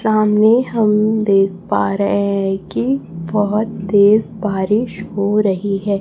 सामने हम देख पा रहे हैं की बहोत तेज बारिश हो रही है।